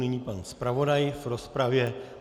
Nyní pan zpravodaj v rozpravě.